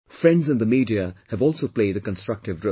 Friends in the media have also played a constructive role